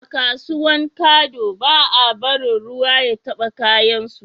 A kasuwan kado ba a barin ruwa ya taba kayan su